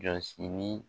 Jɔsi ni